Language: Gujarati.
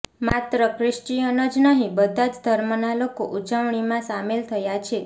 માત્ર ક્રિશ્ચિયન જ નહીં બધા જ ધર્મના લોકો ઉજવણીમાં સામેલ થાય છે